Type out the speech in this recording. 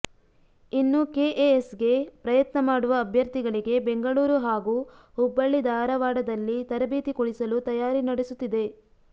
ಇನ್ನು ಕೆಎಎಸ್ಗೆ ಪ್ರಯತ್ನ ಮಾಡುವ ಅಭ್ಯರ್ಥಿಗಳಿಗೆ ಬೆಂಗಳೂರು ಹಾಗೂ ಹುಬ್ಬಳ್ಳಿ ಧಾರವಾಡದಲ್ಲಿ ತರಬೇತಿ ಕೊಡಿಸಲು ತಯಾರಿ ನಡೆಸುತ್ತಿದೆ